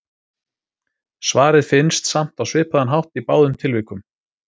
Svarið finnst samt á svipaðan hátt í báðum tilvikum.